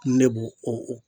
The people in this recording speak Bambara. Ne b'o o o